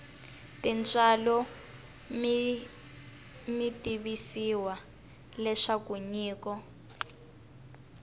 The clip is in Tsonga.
tintswalo mi tivisiwa leswaku nyiko